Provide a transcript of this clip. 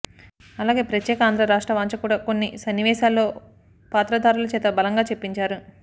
అలాగే ప్రత్యేక ఆంధ్ర రాష్ట్ర వాంఛ కూడా కొన్ని సన్నివేశాల్లో పాత్రధారులచేత బలంగా చెప్పించారు